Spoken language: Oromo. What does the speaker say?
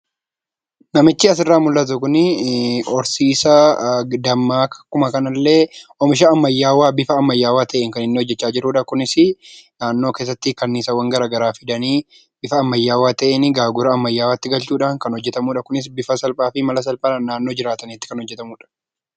Namichi asirraa mul'atu kun horsiisaa dammaa akkuma kanallee oomisha ammayyaawaan yeroo inni hojjachaa jirudha. Naannoo keessatti kanniisaawwan garaagaraa fi bifa ammaayyaatti galchuudhaan innis bifa salphaa fi mala salphaadhaan naannoo jiraatanitti kan hojjatamudha.